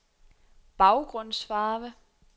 baggrundsfarve